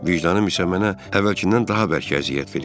Vicdanım isə mənə əvvəlkindən daha bərk əziyyət verirdi.